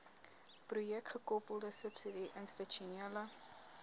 projekgekoppelde subsidie institusionele